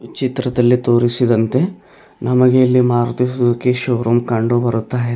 ಚಿತ್ರದಲ್ಲಿ ತೋರಿಸಿದಂತೆ ನಮಗೆ ಇಲ್ಲಿ ಮಾರುತಿ ಸುಜುಕಿ ಶೋರೂಮ್ ಕಂಡುಬರುತ್ತಾ ಇದೆ.